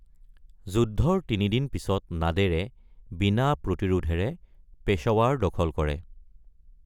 যুদ্ধৰ তিনিদিন পিছত নাদেৰে বিনা প্ৰতিৰোধেৰে পেশ্বৱাৰ দখল কৰে।